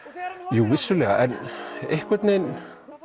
jú vissulega en einhvern vegin